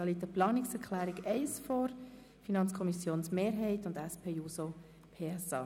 Es liegt eine Planungserklärung der FiKo-Mehrheit und der SP-JUSO-PSA vor.